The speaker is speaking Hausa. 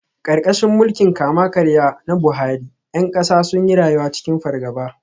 Karkashin mulkin kama-karya na Buhari, ’yan kasa sun yi rayuwa cikin fargaba.